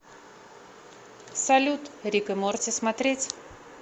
салют рик и морти смотреть